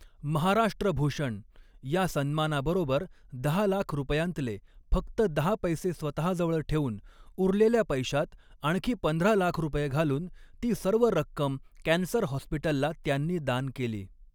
महाराष्ट्रभूषण या सन्मानाबरोबर दहा लाख रुपयांतले फक्त दहा पैसे स्वतःजवळ ठेवून उरलेल्या पैशात आणखी पंधरा लाख रुपये घालून ती सर्व रक्कम कॅन्सर हॉस्पिटलला त्यांनी दान केली.